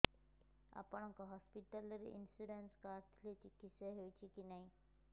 ଆପଣଙ୍କ ହସ୍ପିଟାଲ ରେ insurance card ଥିଲେ ଚିକିତ୍ସା ହେଉଛି କି ନାଇଁ